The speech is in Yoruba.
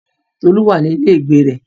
Tolu wà ní ilé ìgbé rẹ̀.